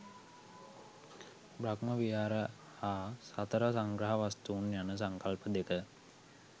බ්‍රහ්ම විහාර හා සතර සංග්‍රහ වස්තූන් යන සංකල්ප දෙක